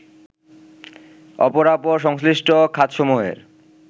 অপরাপর সংশ্লিষ্ট খাতসমূহের